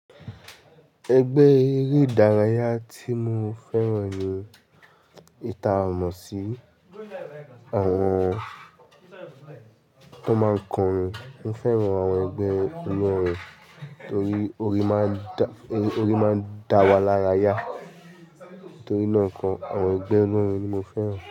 Ẹgbẹ́ eré ìdárayá tí mo fẹ́ràn ni eyi ta mọ̀ sí àwọn tó máa n kọ orin. Mo fẹ́ràn àwọn ẹgbẹ́ olórin torí orín máa ń dá wa lárayá. Torí náà kan, àwọn ẹgbẹ́ olórin ni mo fẹ́ràn.